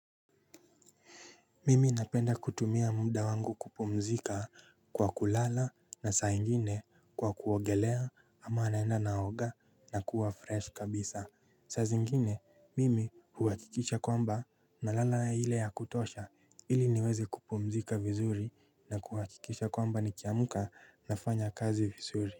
Mimi napenda kutumia muda wangu kupumzika kwa kulala na saa ingine kwa kuogelea ama naenda naoga nakuwa fresh kabisa. Saa zingine mimi huhakikisha kwamba nalala ile ya kutosha ili niweze kupumzika vizuri na huhakikisha kwamba nikiamka nafanya kazi vizuri.